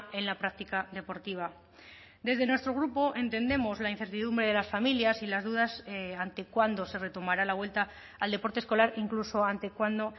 en la práctica deportiva desde nuestro grupo entendemos la incertidumbre de las familias y las dudas ante cuándo se retomará la vuelta al deporte escolar incluso ante cuándo